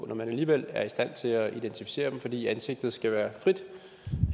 på når man alligevel er i stand til at identificere dem fordi ansigtet skal være frit